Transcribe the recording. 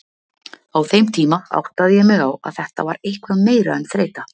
Á þeim tíma áttaði ég mig á að þetta var eitthvað meira en þreyta.